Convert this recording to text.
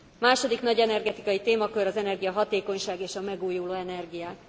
Második nagy energetikai témakör az energiahatékonyság és a megújuló energiák.